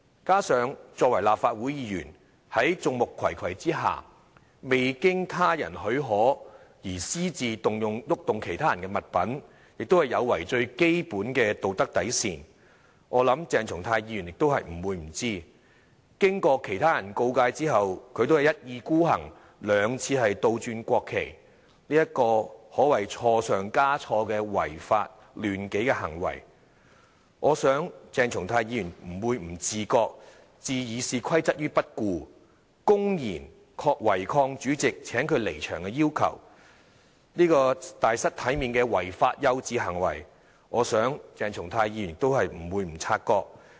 加上作為立法會議員，在眾目睽睽下，未經他人許可私自移動其他人的物品，亦有違最基本的道德底線，我想鄭松泰議員也不會不知道；經過其他人告誡後，他仍一意孤行地兩次倒轉國旗，這個可謂是錯上加錯的違法亂紀行為，我想鄭松泰議員不會不自覺；置《議事規則》於不顧，公然違抗主席請他離場的要求，這個大失體面的違法幼稚行為，我想鄭松泰議員也不會不察覺。